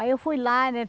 Aí eu fui lá, né?